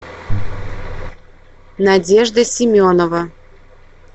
надежда семенова